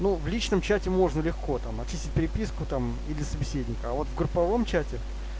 ну в личном чате можно легко там очистить переписку там или собеседника а вот в групповом чате